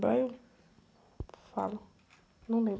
lembrar eu falo, não lembro.